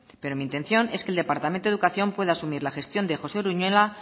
pero mi intención es que el departamento de educación pueda asumir la gestión de josé uruñuela